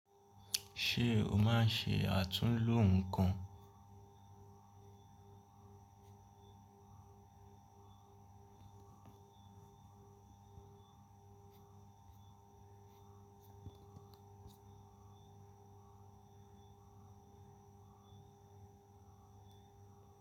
Ṣé o máa ń ṣe àtúnlo nǹkan?